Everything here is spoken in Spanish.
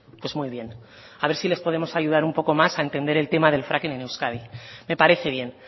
pues muy bien a ver si les podemos ayudar un poco más a entender el tema del fracking en euskadi me parece bien